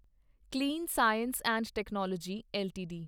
clean Science and Technology LTD